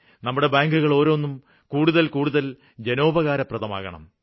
നമ്മുടെ ബാങ്കുകള് ഓരോന്നും കൂടുതല് കൂടുതല് ജനോപകാരപ്രദമാകണം